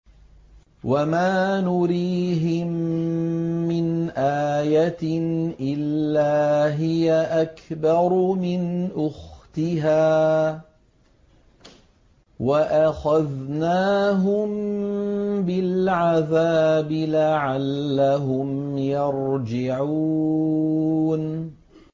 وَمَا نُرِيهِم مِّنْ آيَةٍ إِلَّا هِيَ أَكْبَرُ مِنْ أُخْتِهَا ۖ وَأَخَذْنَاهُم بِالْعَذَابِ لَعَلَّهُمْ يَرْجِعُونَ